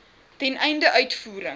ten einde uitvoering